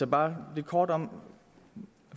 bare lidt kort om